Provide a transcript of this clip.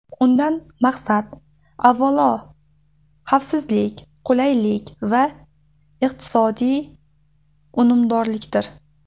Undan maqsad, avvalo, xavfsizlik, qulaylik va iqtisodiy unumdorlikdir.